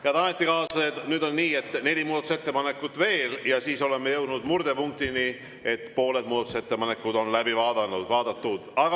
Head ametikaaslased, nüüd on nii, et neli muudatusettepanekut veel, ja siis jõuame murdepunktini, et pooled muudatusettepanekud on läbi vaadatud.